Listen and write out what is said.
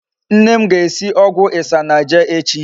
Nne m ga-esi ogwu isanaje echi